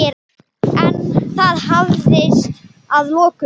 En það hafðist að lokum.